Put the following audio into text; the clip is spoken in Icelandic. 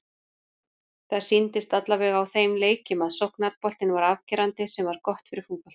Það sýndist allavega á þeim leikjum að sóknarboltinn var afgerandi- sem var gott fyrir fótboltann.